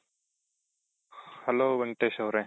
hello Venkatesh ಅವ್ರೆ.